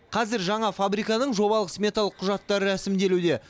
қазір жаңа фабриканың жобалық сметалық құжаттары рәсімделуде